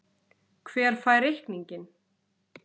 Hver fær reikninginn?